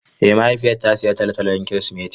Ee mahaifiyata ta sayi tolotolo don Kirsimeti.